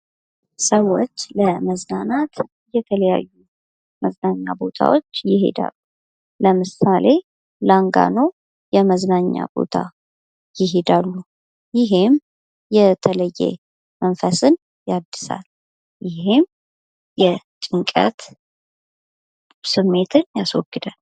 ሰዎች ለመዝናናት የተለያዩ የመዝናኛ ቦታዎች ይሄዳሉ ። ለምሳሌ ላንጋኖ የመዝናኛ ቦታ ይሄዳሉ ። ይሄም የተለየ መንፈስን ያድሳል። ይሄም የጭንቀት ስሜትን ያስዎግዳል ።